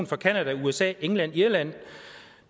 fra canada usa england irland